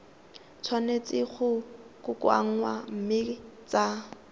tshwanetse go kokoanngwa mme tsa